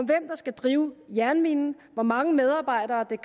der skal drive jernminen hvor mange medarbejdere der